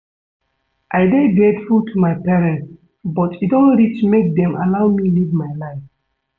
I dey grateful to my parents but e don reach make dem allow me live my life